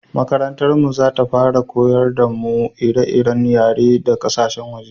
makarantar mu za ta fara koyar da mu ire-iren yare da ƙasashen su